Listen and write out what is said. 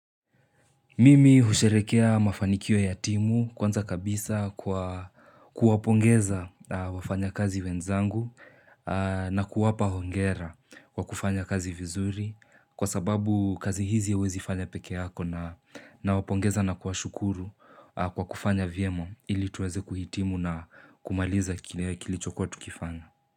Mimi husherehekea mafanikio ya timu kwanza kabisa kwa kuwapongeza wafanya kazi wenzangu na kuwapa hongera kwa kufanya kazi vizuri kwa sababu kazi hizi hauwezi fanya peke yako. Na nawapongeza na kuwashukuru kwa kufanya vyema ili tuweze kuhitimu na kumaliza kilichokuwa tukifanya.